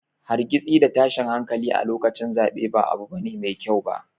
Hargitsi da tashin hankali a lokacin zaɓe ba abu ne mai kyau ba.